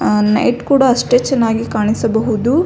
ಅ night ಕೂಡ ಅಷ್ಟೆ ಚೆನ್ನಾಗಿ ಕಾಣಿಸಿಬಹುದು.